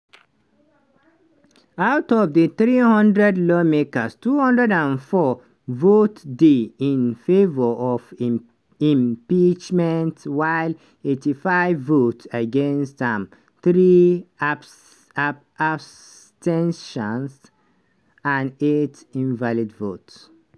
out of di 300 lawmakers 204 votes dey in favour of im impeachment while 85 vote against am three abs ten tions and eight invalid votes.